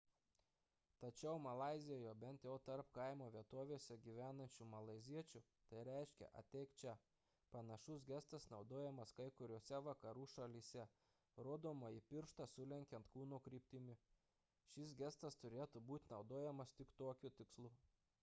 tačiau malaizijoje bent jau tarp kaimo vietovėse gyvenančių malaiziečių tai reiškia ateik čia panašus gestas naudojamas kai kuriose vakarų šalyse rodomąjį pirštą sulenkiant kūno kryptimi šis gestas turėtų būti naudojamas tik tokiu tikslu